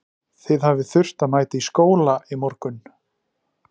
Þið hafið þurft að mæta í skóla í morgun?